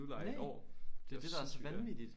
Næ! Det det der er så vanvittigt!